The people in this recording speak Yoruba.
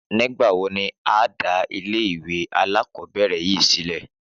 Nígbà wo ni a dá ilé ìwé alákòóbèrè yìí sílè?